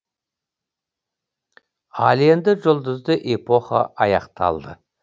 ал енді жұлдызды эпоха аяқталды